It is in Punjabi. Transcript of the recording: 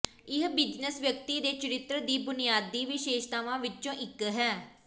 ਇਹ ਬਿਜ਼ਨਸ ਵਿਅਕਤੀ ਦੇ ਚਰਿੱਤਰ ਦੀ ਬੁਨਿਆਦੀ ਵਿਸ਼ੇਸ਼ਤਾਵਾਂ ਵਿੱਚੋਂ ਇੱਕ ਹੈ